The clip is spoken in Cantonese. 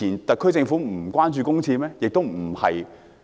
特區政府以往不關注公廁問題嗎？